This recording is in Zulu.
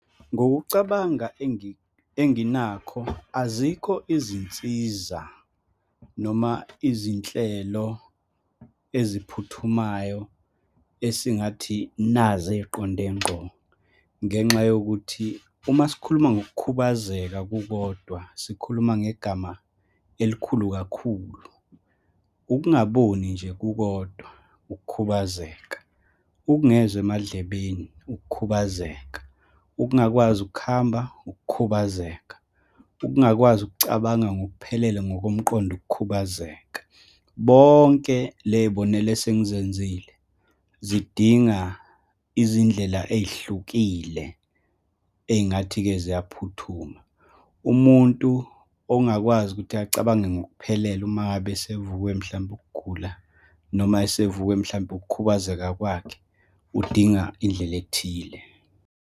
Ngokucabanga enginakho, azikho izinsiza noma izinhlelo eziphuthumayo esingathi nazi ey'qonde nqgo, ngenxa yokuthi uma sikhuluma ngokukhubazeka kukodwa, sikhuluma ngegama elikhulu kakhulu. Ukungaboni nje kukodwa, ukukhubazeka, ukungezwa emadlebeni, ukukhubazeka, ukungakwazi ukuhamba, ukukhubazeka, ukungakwazi ukucabanga ngokuphelele ngokomqondo, ukukhubazeka. Bonke leyibonela esengizenzile zidinga izindlela ey'hlukile, ey'ngathi-ke ziyaphuthuma. Umuntu ongakwazi ukuthi acabange ngokuphelele uma ngabe asivukwe, mhlampe ukugula, noma asivukwe, mhlampe ukukhubazeka kwakhe, udinga indlela ethile.